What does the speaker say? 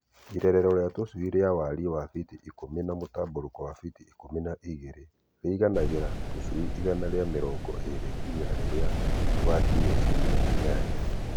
Irerero rĩa tũcui rĩa wariĩ wa biti ikũmi na mũtambũrũko wa biti ikũmi na igĩrĩ rĩiganagĩra tũcui igana rĩa mĩrongo ĩĩrĩ nginya rĩrĩa tũgakinyia ciumia inyanya.